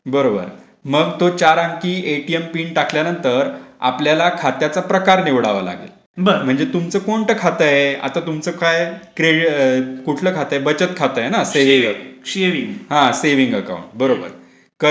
बरोबर मग तो चार अंकी एटीएम पिन टाकल्यानंतर आपल्याला खताच्या प्रकार निवडावा लागेलं.म्हणजे तुमचं कोणता खात आहे. आता तुमचं काय. क्रेअकुठलं खात आहे बचत खात आहे ना सेविंग अकाउंट बरोबर.